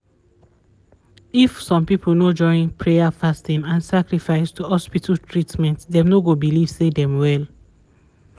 if some people no join prayer fasting and sacrifice to hospital treatment dem no go believe say dem well